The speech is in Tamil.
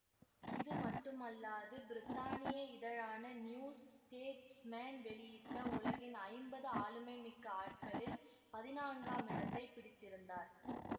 இது மட்டுமல்லாது பிரித்தானிய இதழான நியூ ச்டேச்மேன் வெளியிட்ட உலகின் ஐம்பது ஆளுமை மிக்க ஆட்களில் பதினான்காம் இடத்தை பிடித்திருந்தார்